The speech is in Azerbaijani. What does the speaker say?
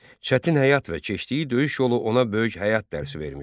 Çətin həyat və keçdiyi döyüş yolu ona böyük həyat dərsi vermişdi.